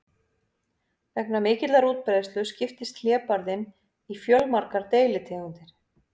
Vegna mikillar útbreiðslu skiptist hlébarðinn í fjölmargar deilitegundir.